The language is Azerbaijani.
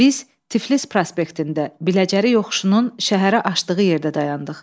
Biz Tiflis prospektində, Biləcəri yoxuşunun şəhərə açdığı yerdə dayandıq.